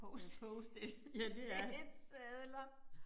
Med post it sedler